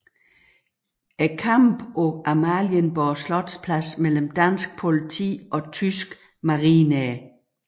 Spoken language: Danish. Kampe på Amalienborg Slotsplads mellem dansk politi og tyske marinere